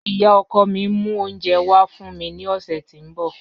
Iya ọkọ mi n mu ounjẹ wa fun mi ni ọsẹ ti n bọ.